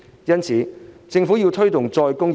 因此，政府有必要推動再工業化。